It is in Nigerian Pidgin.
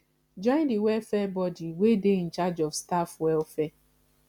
join di welfare body wey dey in charge of staff welfare